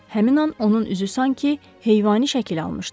Həmin an onun üzü sanki heyvani şəkil almışdı.